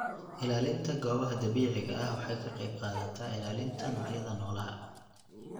Ilaalinta goobaha dabiiciga ah waxay ka qeyb qaadataa ilaalinta noocyada noolaha.